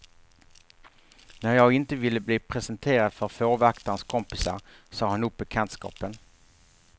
När jag inte ville bli presenterad för fårvaktarens kompisar sa han upp bekantskapen.